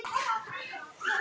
Það hentaði honum vel.